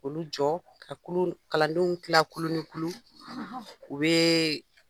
Olu jɔ ka kulu kalandenw kilan kulu ni kulu u bɛ